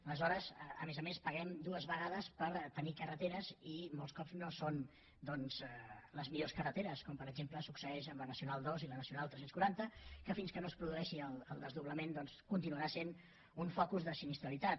aleshores a més a més paguem dues vegades per tenir carreteres i molts cops no són les millors carreteres com per exemple succeeix amb la nacional ii i la nacional tres cents i quaranta que fins que no es produeixi el desdoblament continuarà sent un focus de sinistralitat